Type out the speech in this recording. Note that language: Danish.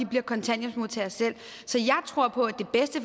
bliver kontanthjælpsmodtagere så jeg tror på